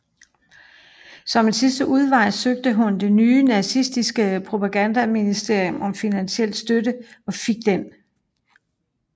Som en sidste udvej søgte hun det nye nazistiske propagandaministerium om finansiel støtte og fik den